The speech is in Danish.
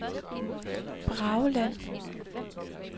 Brageland